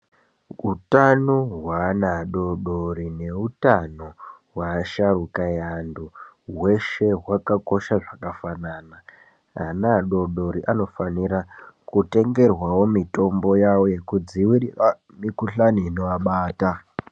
Hutano hweana adodori nehutano hweasharuka eantu , hweshe hwakakosha zvakafanana , ana adodori anofanira kutengerwawo mitombo yavo yekudzivirira mikuhlani inoabata